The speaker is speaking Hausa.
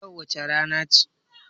Yau wace rana ce?